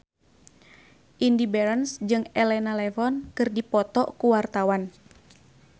Indy Barens jeung Elena Levon keur dipoto ku wartawan